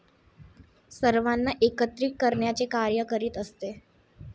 सर्वांना एकत्रित करण्याचे कार्य करीत असते.